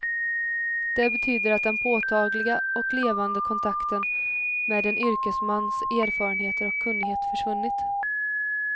Det betyder att den påtagliga och levande kontakten med en yrkesmans erfarenheter och kunnighet försvunnit.